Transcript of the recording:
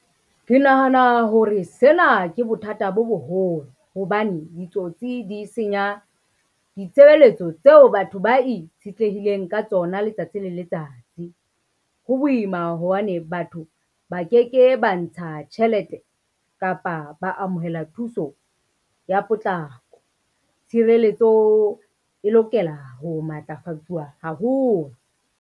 Ke nahana hore sena ke bothata bo boholo, hobane ditsotsi di senya ditshebeletso tseo batho ba itshetlehileng ka tsona letsatsi le letsatsi. Ho boima hobane batho ba ke ke ba ntsha tjhelete kapa ba amohela thuso ya potlako. Tshireletso e lokela ho matlafatsuwa haholo.